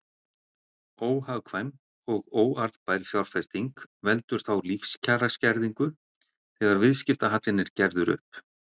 Óhagkvæm og óarðbær fjárfesting veldur þá lífskjaraskerðingu þegar viðskiptahallinn er gerður upp.